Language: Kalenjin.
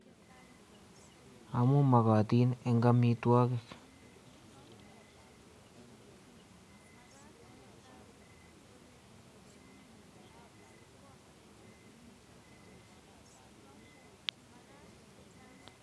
Amuu mokatin eng amitwogik.